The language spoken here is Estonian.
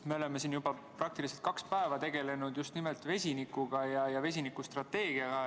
Me oleme siin juba praktiliselt kaks päeva tegelenud just nimelt vesinikuga ja vesinikustrateegiaga.